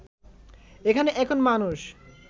এখানে এখন মানুষ